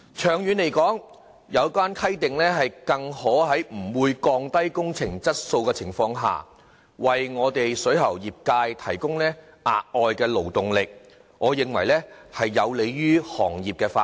長遠而言，有關規定更可在不會降低工程質素的情況下，為水喉業界提供額外勞動力，故此我認為有利於行業發展。